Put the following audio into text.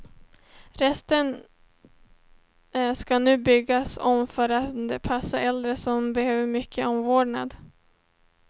Resten ska nu byggas om för att passa äldre som behöver mycket omvårdnad.